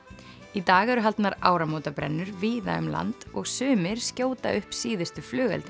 í dag eru haldnar áramótabrennur víða um land og sumir skjóta upp síðustu flugeldunum